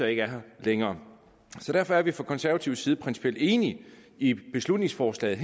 ikke er her længere og derfor er vi fra konservativ side principielt enige i beslutningsforslaget